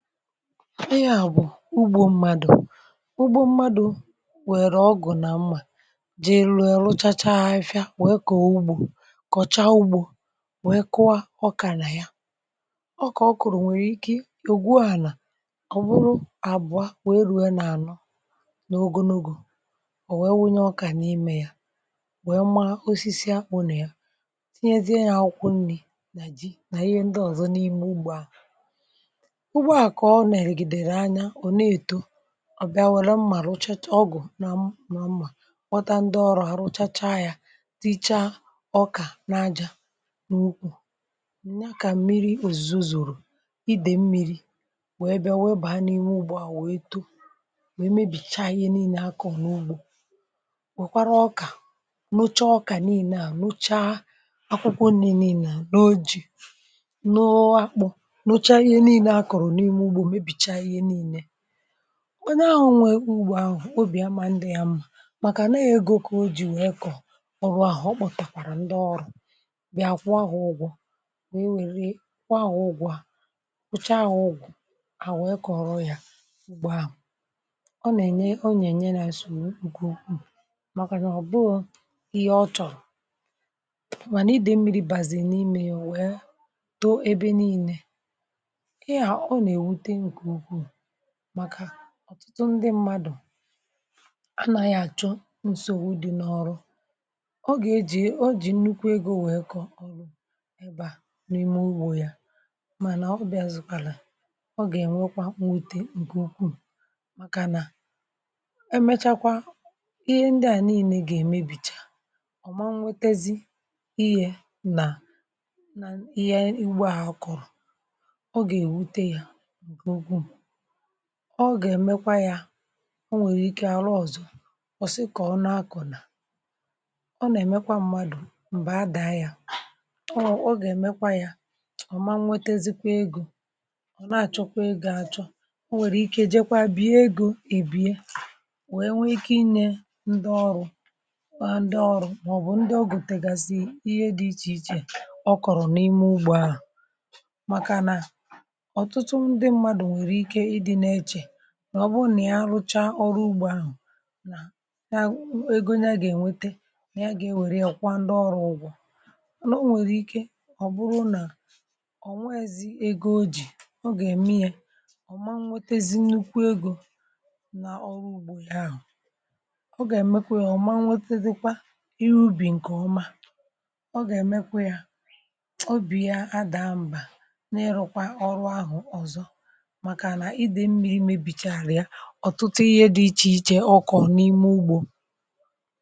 ịa bụ̀ ugbȯ mmadụ̀, um ugbȯ mmadụ̀ nwèrè ọgụ̀ nà mmȧ. Jee lùrù, rụchacha afịfịa, wèe kọ̀ oogbù, kọ̀chaa ugbȯ, wee kwa ọkà nà ya. Ọ kà ọ kụ̀rụ̀ nwèrè ike ògwu ahụ̀, nà ọ̀ bụrụ àbụa wee ru̇ẹ nà ànọ n’ogunugù. Ọ nwekwara nwunye ọkà n’imė ya, wee ma osisi akpụnà ya, tinyezie ya ọkwụ nri̇, nà ji, nà ihe ndị ọ̀zọ n’ime ugbȯ à. Ọ bụ̀ ihe kà o nà-èrìgìdèrè anya, ò na-èto. Ọ bịa, wère mmàlụ̀ ọgụ̀ na mma, kpọta ǹdị ọrụ, um àrụ chacha ya, tichaa ọkà n’ajȧ n’ukwù, enye akà mmiri, òzìzo, zòrò idè mmiri̇, wee bịa, wee bàa n’ime ụgbụ̀ à, wèe too, wèe mebìchaa ihe niilė akọ̀ n’ugbȯ. Wèkwara ọkà nocha, ọkà niilė à, nocha akwụkwọ niilė n’oji̇. Nụọ akpụ nwa n'ahụ, nwe ugbua ahụhụ, obi ya mȧ ndị ya mụ̇, maka na-egȯ kà o ji wee kọ̀ọ. Ọ bụ áhọ, kpọ̀tàkwàrà ndị ọrụ̇ bịa kwụọ ahụ ụgwọ̇, wee nwèri, kwụọ ahụ ụgwọ̇. A pụcha ahụ ụgwọ̀, a hà wee kọrọ ya, ụgbọ̀ ahụ̀ ọ nà-ènye, ọ nà-ènye nà àsòrò ugwu, màkà nà ọ̀ bụ́ọ́ ihe ọ chọ̀rọ̀. um Mànà ịdị̇ mmiri bàzì n’imė yȧ, wèe too ebe niile, màkà ọ̀tụtụ ndị mmadụ̀ anȧghị àchọ nsògbu dị n’ọrụ. Ọ gà-ejì o jì nnukwu egȯ wèe kọ̀ ọrụ ebe à n’ime ugbȯ yȧ, mànà ọ bịazụ̇kwàlà, ọ gà-ènwekwa nwete ǹkè ukwuu, màkà nà emechakwa ihe ndị à niine gà-èmebìcha. Ọ̀ ma nwetezi ihė nà ihe igbȧ ha kọ̀rọ̀, ọ gà-èmekwa ya. Ọ nwèrè ike arụ ọzọ, ọ̀sị kà ọ nọ akọ̀ nà ọ nà-èmekwa mmadụ̀ m̀bè adàa ya, ọ wụ̀, ọ gà-èmekwa ya ọ̀ma. Nwetezikwa egȯ, ọ̀ na-àchọkwa egȯ àchọ, ọ nwèrè ike ejekwa bie egȯ, èbie, wee nwee ike inė ndị ọrụ̇, kwa ndị ọrụ̇. Mà ọ̀ bụ̀ ndị ọgùtègàsị ihe dị iche iche ọ kọ̀rọ̀ n’ime ugbȯ, àrụ̀, màkà nà ọ gà-èmekwa yȧ. Ọ ma nwete, dịkwa iubì, ǹkè ọma, ọ gà-èmekwa yȧ, obì ya adà mbà, na-ịrụ̇kwa ọrụ ahụ̀ ọzọ. um Ọtụtụ ihe dị iche iche, ọkụ n’ime ugbo.